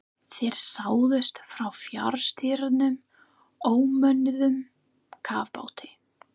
Þær sáust frá fjarstýrðum ómönnuðum kafbáti.